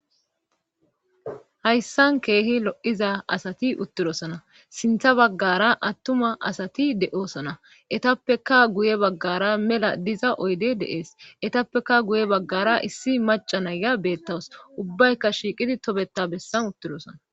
hayssan keehi lo7iza asati uttidosana sintha baggara attuma asati de7oosana etappeka guye baggara mela diza oydde dees etappeka guye baggara issi macca na ya beettawus ubbayka shiiqidi tobeta bessan uttidosana.